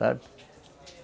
Sabe?